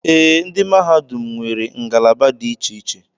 Ee, mahadum nwere ngalaba dị iche iche.